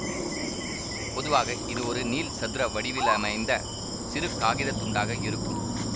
பொதுவாக இது ஒரு நீள்சதுர வடிவிலமைந்த சிறு காகிதத் துண்டாக இருக்கும்